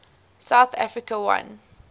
south africa won